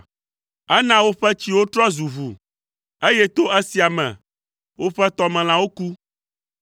Ena woƒe tsiwo trɔ zu ʋu, eye to esia me woƒe tɔmelãwo ku.